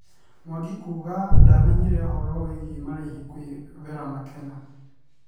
Mwangi kuga ndamenyire ũhoro wĩgiĩ marĩhi kwĩ Vera Makena